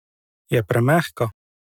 Je premehka?